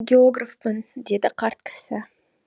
географпын деді қарт кісі